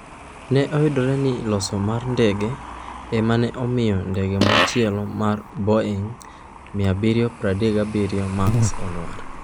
Ne oyudre ni loso mar ndege ema ne omiyo ndege machielo mar Boeing 737 Max olwar.